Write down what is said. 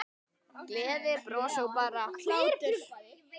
Gleði, bros og bara hlátur.